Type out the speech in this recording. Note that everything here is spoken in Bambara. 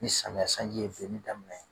Ni samiyɛ sanji ye benni daminɛ